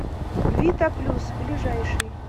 вита плюс ближайший